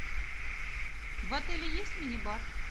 в отеле есть мини бар